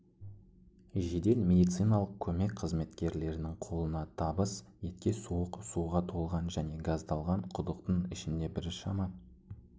жедел медициналық көмек қызметкерлерінің қолына табыс етке суық суға толған және газдалған құдықтың ішінде біршама